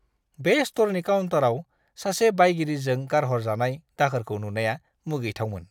बे स्ट'रनि काउन्टाराव सासे बायगिरिजों गारहरजानाय दाखोरखौ नुनाया मुगैथावमोन!